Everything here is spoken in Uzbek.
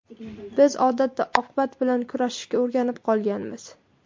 Biz odatda oqibat bilan kurashishga o‘rganib qolganmiz.